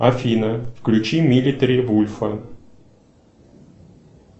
афина включи милитари вульфа